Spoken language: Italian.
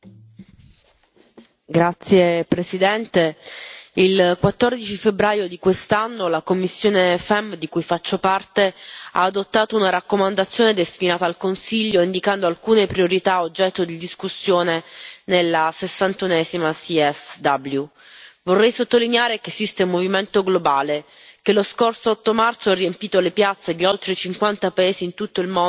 Signora Presidente, onorevoli colleghi, il 14 febbraio di quest'anno la commissione FEMM, di cui faccio parte, ha approvato una raccomandazione destinata al Consiglio, indicando alcune priorità oggetto di discussione nella 61a CSW. Vorrei sottolineare che esiste un movimento globale, che lo scorso 8 marzo ha riempito le piazze di oltre 50 paesi in tutto il mondo per denunciare,